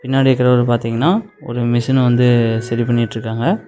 பின்னாடி இருக்கிறவர் பாத்தீங்கன்னா ஒரு மிஷின வந்து சரி பண்ணிட்ருக்காங்க.